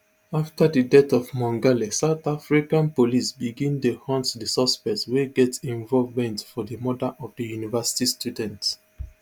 afta di death of mongale south african police begin dey hunt di suspects wey get involvement for di murder of di university student